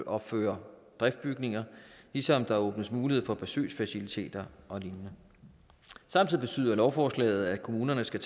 opføre driftsbygninger ligesom der åbnes mulighed for besøgsfaciliteter og lignende samtidig betyder lovforslaget at kommunerne skal